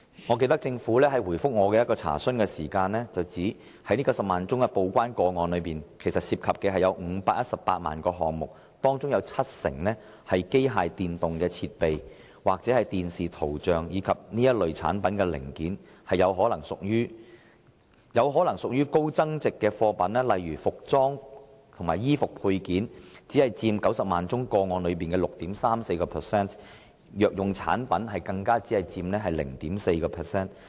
我記得政府在回覆我的一項查詢時表示，這90萬宗報關個案涉及518萬個項目，當中七成是機械電動設備或視像產品的零件，這些或許屬於高增值貨品；"服裝及衣服配件"，則只佔90萬宗個案裏的 6.34%；" 藥用產品"，更只佔 0.4% 而已。